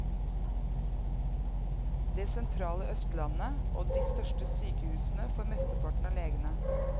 Det sentrale østlandet og de største sykehusene får mesteparten av legene.